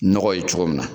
Nɔgɔ ye cogo min na